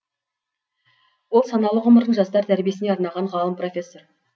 ол саналы ғұмырын жастар тәрбиесіне арнаған ғалым профессор